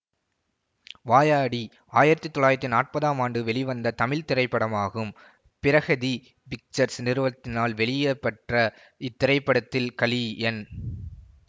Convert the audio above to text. வாயாடி ஆயிரத்தி தொள்ளாயிரத்தி நாற்பதாம் ஆண்டு வெளிவந்த தமிழ் திரைப்படமாகும் பிரஹதி பிக்சர்ஸ் நிறுவத்தினால் வெளியிடப்பெற்ற இத்திரைப்படத்தில் கலி என்